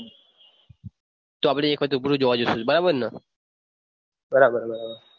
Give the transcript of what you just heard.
બરાબર બરાબર